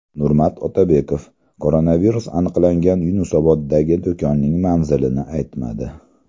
Nurmat Otabekov koronavirus aniqlangan Yunusoboddagi do‘konning manzilini aytmadi.